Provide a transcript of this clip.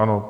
Ano.